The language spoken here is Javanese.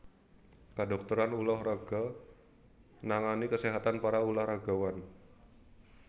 Kedhokteran ulah raga nangani kaséhatan para ulah ragawan